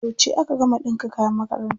Yauce aka gama ɗinka kayan makaranta?